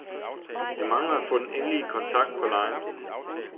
Jeg mangler at få den endelige kontrakt på lejen.